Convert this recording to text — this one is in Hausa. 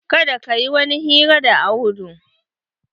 Kada ka yi kowani hira da Audu.